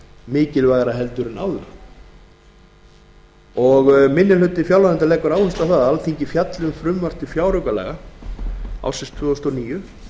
mikilvægara en áður minni hlutinn leggur áherslu á að alþingi fjalli um frumvarp til fjáraukalaga fyrir árið tvö þúsund og níu